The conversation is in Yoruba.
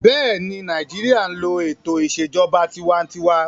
Bẹ́ẹ̀ni, Nàìjíríyà n lo ètò ìṣèjọba tinwatinwa